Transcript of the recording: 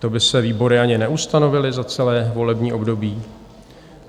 To by se výbory ani neustanovily za celé volební období?